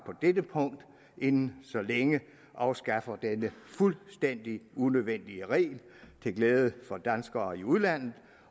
på dette punkt inden så længe afskaffer denne fuldstændig unødvendige regel til glæde for danskere i udlandet